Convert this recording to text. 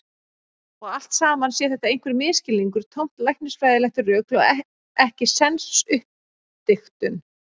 Og allt saman sé þetta einhver misskilningur, tómt læknisfræðilegt rugl og ekkisens uppdiktun.